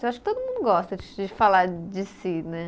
Eu acho que todo mundo gosta de falar de si, né?